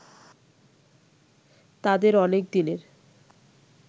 তাঁদের অনেকদিনের